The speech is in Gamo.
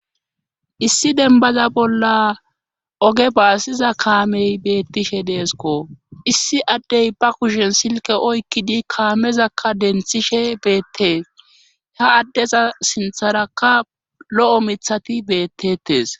issi denbaza bolla oge baasiza kaamey beettishe deesko issi addey ba kushen silke oykkidi kaamezakka denthishe beettee ha addeza sintharakka lo7o mithati beettetes